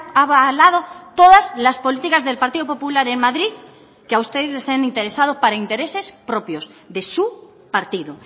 avalado todas las políticas del partido popular en madrid que a ustedes les han interesado para intereses propios de su partido